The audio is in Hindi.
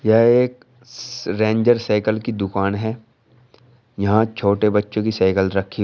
यह एक रेंजर साइकल की दुकान है यहां छोटे बच्चों की साइकल रखी--